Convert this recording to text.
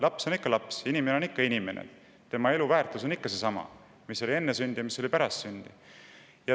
Laps on ikka laps, inimene on ikka inimene, tema elu väärtus on ikka seesama, mis oli enne sündi ja mis on pärast sündi.